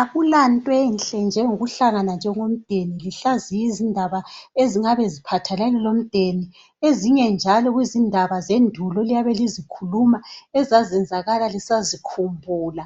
Akulanto enhle njengokuhlangana njengomdeni lihlaziye izindaba ezingabe ziphathelane lomdeni, ezinye njalo kuzindaba zendulo eliyabe lizikhuluma ezazezanzakala lisazikhumbula.